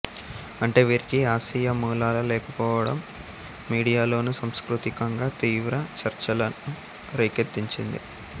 అంటే వీరికి ఆసియా మూలాలు లేకపోవడం మీడియాలోనూ సాంస్కృతికంగా తీవ్ర చర్చలను రేకెత్తించింది